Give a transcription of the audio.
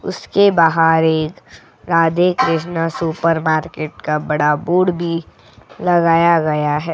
उसके बाहर एक राधे कृष्णा सुपरमार्केट का बड़ा बोर्ड भी लगाया गया है.